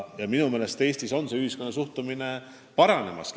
Ja minu meelest Eestis on ühiskonna suhtumine paranemas.